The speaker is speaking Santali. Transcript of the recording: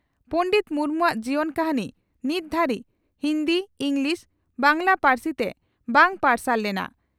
ᱯᱚᱸᱰᱮᱛ ᱢᱩᱨᱢᱩᱣᱟᱜ ᱡᱤᱭᱚᱱ ᱠᱟᱹᱦᱱᱤ ᱱᱤᱛ ᱫᱷᱟᱹᱨᱤᱡ ᱦᱤᱱᱫᱤ, ᱤᱸᱜᱽᱞᱤᱥ, ᱵᱟᱝᱜᱽᱞᱟ ᱯᱟᱹᱨᱥᱤᱛᱮ ᱵᱟᱝ ᱯᱟᱨᱥᱟᱞ ᱞᱮᱱᱟ ᱾